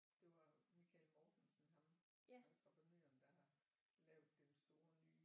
Det var Michael Mortensen ham entreprenøren der har lavet den store nye